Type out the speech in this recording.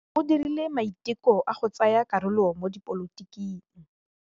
O dirile maitekô a go tsaya karolo mo dipolotiking.